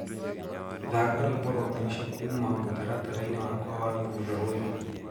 thaka rwĩmbo rwa mwĩsho kũũma mũtarataraĩnĩ wakwa wa thũtha ũyũ